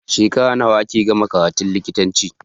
Shekara nawa ake gama karatun likitanci